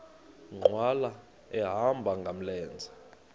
nkqwala ehamba ngamlenze